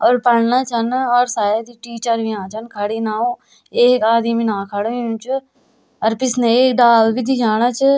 और पढ़ना छन और शायद टीचर हुया छन खड़ी इनाऊ एक आदिम इना खड़ु हुयूं च अर पिछने एक डालू भी दिखेणा च।